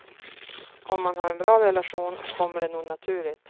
Om man har en bra relation kommer det nog naturligt.